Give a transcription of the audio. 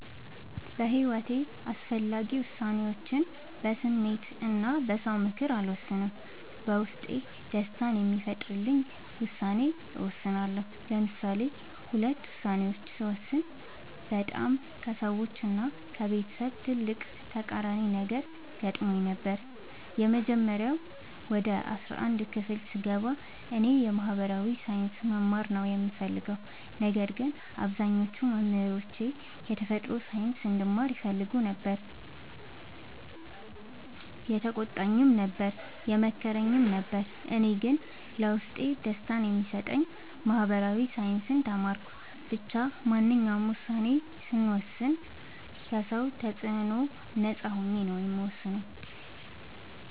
በሒወቴ አስፈላጊ ወሳኔዎችን በስሜት እና በ ሰው ምክር አልወሰንም። በውስጤ ደስታን የሚፈጥርልኝን ውሳኔ እወስናለሁ። ለምሳሌ ሁለት ውሳኔዎችን ስወስን በጣም ከሰዎች እና ከቤተሰብ ትልቅ ተቃራኒ ነገር ገጥሞኝ ነበር። የመጀመሪያው ወደ አስራአንድ ክፍል ስገባ እኔ የ ማህበራዊ ሳይንስ መማር ነው የምፈልገው። ነገር ግን አብዛኞቹ መምህሮቼ የተፈጥሮ ሳይንስ እንድማር ይፈልጉ ነበር የተቆጣኝም ነበር የመከረኝም ነበር እኔ ግን ለውስጤ ደስታን የሚሰጠኝን ማህበራዊ ሳይንስ ተማርኩ። ብቻ ማንኛውንም ውሳኔ ስወስን ከ ሰው ተፅዕኖ ነፃ ሆኜ ነው የምወስነው።